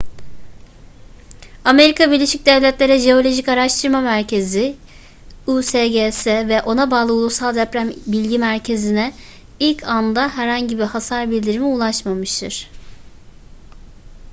amerika birleşik devletleri jeolojik araştırma merkezi usgs ve ona bağlı ulusal deprem bilgi merkezi'ne ilk anda herhangi bir hasar bildirimi ulaşmamıştır